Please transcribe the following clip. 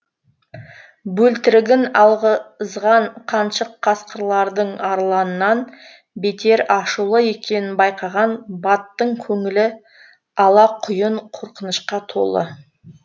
бөлтірігін алғызған қаншық қасқырлардың арланнан бетер ашулы екенін байқаған баттың көңілі алақұйын қорқынышқа толы